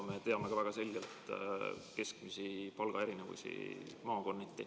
Me teame väga selgelt ka keskmisi palgaerinevusi maakonniti.